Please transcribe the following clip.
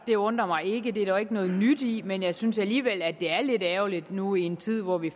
det undrer mig ikke det er der jo ikke noget nyt i men jeg synes alligevel at det er lidt ærgerligt nu i en tid hvor vi